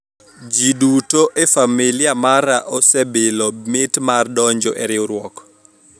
jii duto e familia mara osebilo mit mar donjo e riwruok